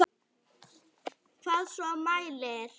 Ef svo í hvaða mæli?